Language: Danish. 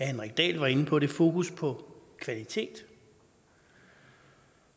henrik dahl var inde på fokus på kvalitet